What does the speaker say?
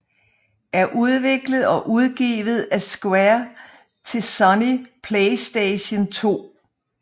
er udviklet og udgivet af Square til Sony PlayStation 2